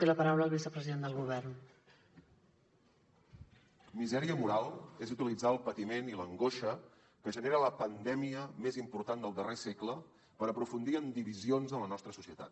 misèria moral és utilitzar el patiment i l’angoixa que genera la pandèmia més important del darrer segle per aprofundir en divisions en la nostra societat